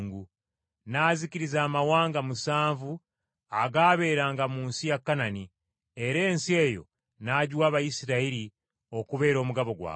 N’azikiriza amawanga musanvu agaabeeranga mu nsi ya Kanani, era ensi eyo n’agiwa Abayisirayiri okubeera omugabo gwabwe,